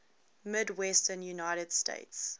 midwestern united states